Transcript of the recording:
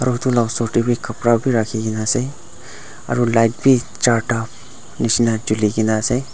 aru edu la osor tae bi kapra bi rakhikaena aro light bi charta nishina chuli kaena ase.